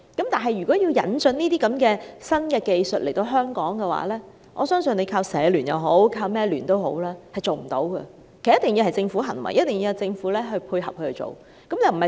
但是，如果要引進這些新技術來香港，我相信單靠香港社會服務聯會或其他民間組織也不能成事，必須由政府牽頭，由政府配合去做。